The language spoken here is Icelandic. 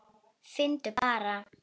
Finndu bara!